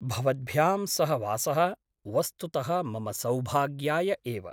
भवद्भ्यां सह वासः वस्तुतः मम सौभाग्याय एव ।